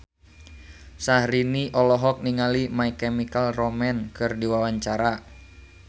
Syahrini olohok ningali My Chemical Romance keur diwawancara